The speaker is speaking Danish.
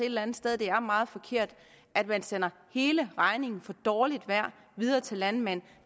eller andet sted er meget forkert at man sender hele regningen for dårligt vejr videre til landmænd